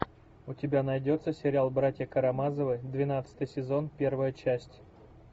у тебя найдется сериал братья карамазовы двенадцатый сезон первая часть